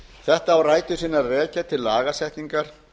þetta á rætur sínar að rekja til lagasetningar